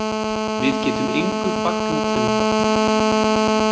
Við getum engu fagnað ennþá